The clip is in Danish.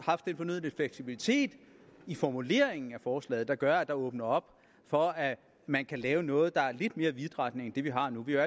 haft den fornødne fleksibilitet i formuleringen af forslaget som gør at der åbnes op for at man kan lave noget der er lidt mere vidtrækkende end det vi har nu vi er